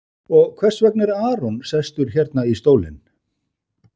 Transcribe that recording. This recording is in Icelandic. Og þess vegna er Aron sestur hérna í stólinn?